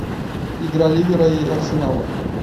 игра ливера и арсенала